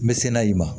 N bɛ se n'a ye ma